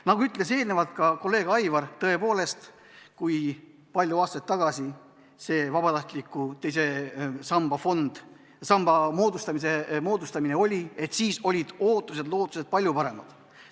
Nagu ütles ka kolleeg Aivar, tõepoolest, kui palju aastaid tagasi see teise samba fondi moodustamine oli, siis olid ootused-lootused palju paremad.